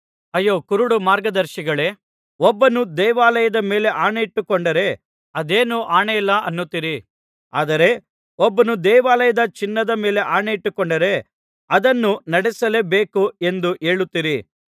ಅಯ್ಯೋ ಕುರುಡು ಮಾರ್ಗದರ್ಶಿಗಳೇ ಒಬ್ಬನು ದೇವಾಲಯದ ಮೇಲೆ ಆಣೆಯಿಟ್ಟುಕೊಂಡರೆ ಅದೇನು ಆಣೆಯಲ್ಲ ಅನ್ನುತ್ತೀರಿ ಆದರೆ ಒಬ್ಬನು ದೇವಾಲಯದ ಚಿನ್ನದ ಮೇಲೆ ಆಣೆಯಿಟ್ಟುಕೊಂಡರೆ ಅದನ್ನು ನಡಿಸಲೇಬೇಕು ಎಂದು ಹೇಳುತ್ತೀರಿ